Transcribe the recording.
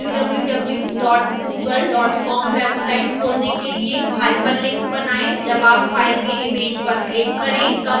www google com website खोलने के लिए hyperlink बनाएं जब आप file में image पर click करें